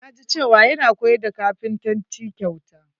Na ji cewa yana koyar da kapintanci kyauta.